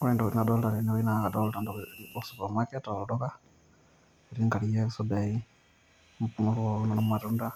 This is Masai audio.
ore entoki nadoolta tene wueji naa kadolta te supermarket aa olduka, etii nkariak, isudai, imuan pookin oormatunda,